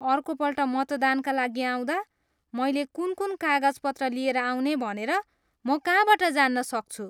अर्कोपल्ट मतदानका लागि आउँदा मैले कुन कुन कागजपत्र लिएर आउने भनेर म कहाँबाट जान्न सक्छु?